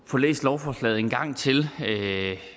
få læst lovforslaget en gang til